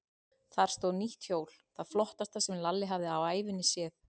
Þar stóð nýtt hjól, það flottasta sem Lalli hafði á ævinni séð.